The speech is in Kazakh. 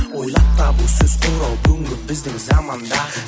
ойлап табу сөз құрау бүгінгі біздің заманда